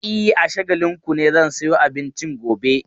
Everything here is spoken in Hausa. E, a Shagalinku ne zan sayo abincin gobe.